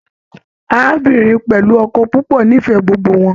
Arábìnrin pẹlú ọkọ púpọ n'ifẹ gbogbo wọn.